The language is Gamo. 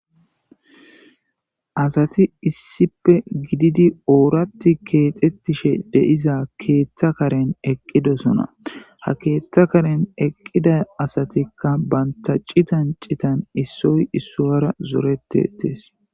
asati issipe gididi ooratti keexettishe deiza keeththa karen eqqidosona ha keeththa karen eqqida asatikka bantaci tancitan issoy issoyara zoretetees